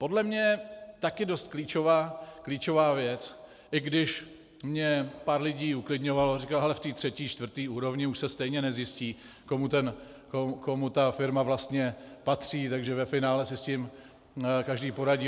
Podle mě taky dost klíčová věc, i když mě pár lidí uklidňovalo, říkali hele, v té třetí, čtvrté úrovni už se stejně nezjistí, komu ta firma vlastně patří, takže ve finále si s tím každý poradí.